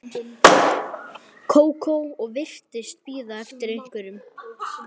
Kókó og virtist bíða eftir einhverjum.